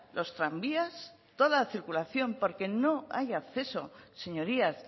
los tranvías toda la circulación porque no hay acceso señorías